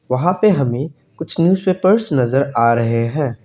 वहां पे हमें कुछ न्यूज पेपर्स नजर आ रहे हैं।